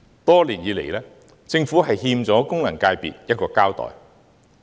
多年來，政府欠功能界別一個交代。